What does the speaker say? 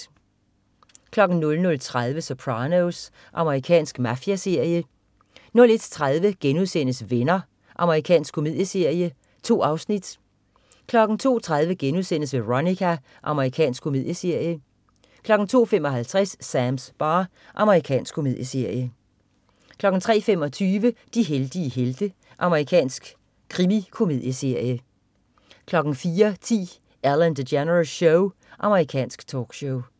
00.30 Sopranos. Amerikansk mafiaserie 01.30 Venner.* Amerikansk komedieserie. 2 afsnit 02.30 Veronica.* Amerikansk komedieserie 02.55 Sams bar. Amerikansk komedieserie 03.25 De heldige helte. Amerikansk krimikomedieserie 04.10 Ellen DeGeneres Show. Amerikansk talkshow